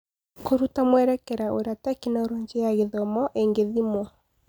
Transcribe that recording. Kũruta mwerekera wa ũrĩa Tekinoronjĩ ya Gĩthomo ĩngĩthimwo.